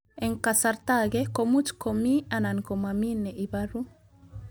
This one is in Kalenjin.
Eng' kasarta ag'e ko much ko mii anan komamii ne ibaru